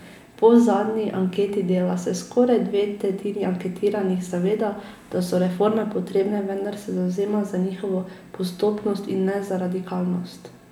Po zadnji anketi Dela se skoraj dve tretjini anketiranih zaveda, da so reforme potrebne, vendar se zavzema za njihovo postopnost, in ne za radikalnost.